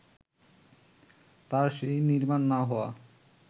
তার সেই নির্মাণ না হওয়া